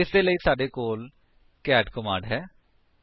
ਇਸਦੇ ਲਈ ਸਾਡੇ ਕੋਲ ਕੈਟ ਕਮਾਂਡ ਹੈ